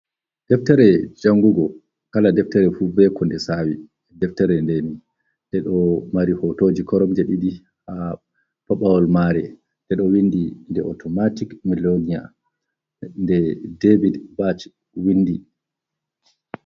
Deftere jangugo, Kala deftere fu be ko nde Sawi. Deftere nde ndeɗo mari hotoji Koromje ɗiɗi. ha Pabawal mare ndeɗo windi nde Otomatik miliyoniya. Nde David batch windi.